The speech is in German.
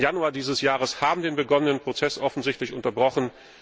9. Januar dieses Jahres haben den begonnenen Prozess offensichtlich unterbrochen.